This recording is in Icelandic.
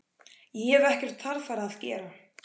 Ég hef ekkert þarfara að gera.